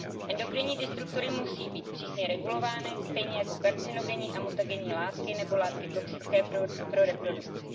Endokrinní disruptory musí být přísně regulovány stejně jako karcinogenní a mutagenní látky nebo látky toxické pro reprodukci.